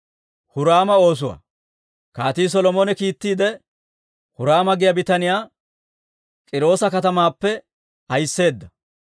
Kaatii Solomone kiittiide, Huraama giyaa bitaniyaa K'iiroosa katamaappe ahisseedda.